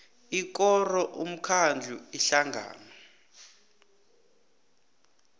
ikoro umkhandlu ihlangano